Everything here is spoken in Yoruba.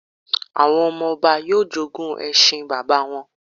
Àwọn ọmọ-ọba yóò jogún ẹṣin bàbá wọn